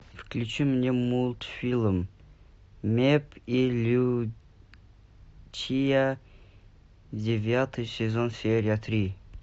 включи мне мультфильм мэпп и лючия девятый сезон серия три